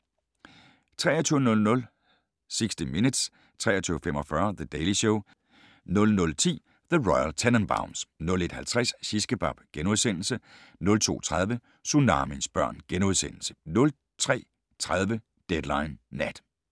23:00: 60 Minutes 23:45: The Daily Show 00:10: The Royal Tenenbaums 01:50: Shishkebab * 02:30: Tsunamiens børn * 03:30: Deadline Nat